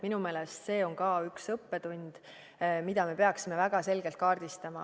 Minu meelest see on ka üks õppetund, mida me peaksime väga selgelt kaardistama.